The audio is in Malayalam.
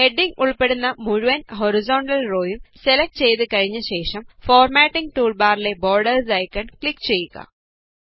ഹെഡിംഗ് ഉള്പ്പെടുന്ന മുഴുവന് ഹോറിസോണ്ടല് റോ യും സെലക്ട് ചെയ്തു കഴിഞ്ഞ ശേഷം ഫോര്മാറ്റിംഗ് ടൂള് ബാറിലെ ബോര്ഡേര്സ് ഐക്കണില് ക്ലിക് ചെയ്യുക